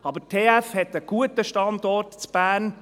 Aber die TF Bern hat einen guten Standort in Bern.